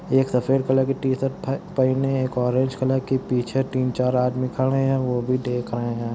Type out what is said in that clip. एक सफेद कलर की टी-शर्ट पहने है एक ओरेंज कलर की पीछे तीन-चार आदमी खड़े हैं और वो भी दिख रहे है।